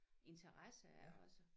Interesse også